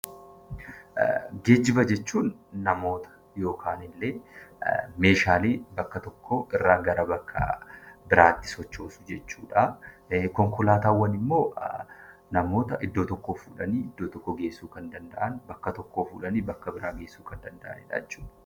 Geejiba jechuun namoota yookaan illee Meeshaalee tokko gara biraatti sochoosuu jechuudha. Konkolaataawwan immoo namoota iddoo tokkoo iddoo biraatti geessuu kan danda'an, namoota bakka tokkoo fuudhanii bakka biraatti geessuu waantota addaa addaa jechuudha.